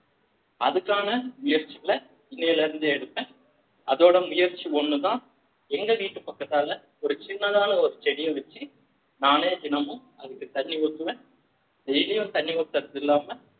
அதுக்கான முயற்சிகளை இன்னையில இருந்து எடுப்பேன் அதோட முயற்சி ஒண்ணுதான் எங்க வீட்டு பக்கத்தால ஒரு சின்னதாக ஒரு செடியை வச்சு நானே தினமும் அதுக்கு தண்ணி ஊத்துவேன் daily யும் தண்ணி ஊத்துறது இல்லாம